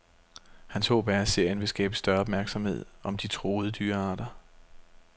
Hans håb er, at serien vil skabe større opmærksomhed om de truede dyrearter.